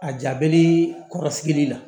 A jabɛlii kɔrɔsigili la